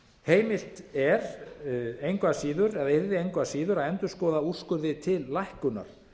heimilt er engu að síður eða yrði engu að síður að endurskoða úrskurði til lækkunar